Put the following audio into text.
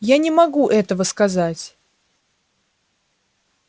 я не могу этого сказать